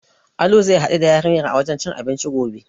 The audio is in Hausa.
Alu zai haɗu da yarinyar a wajen cin abinci gobe.